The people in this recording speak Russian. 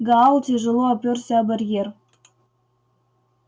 гаал тяжело оперся о барьер